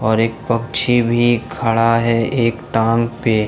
और एक पक्षी भी खड़ा है एक टांग पे।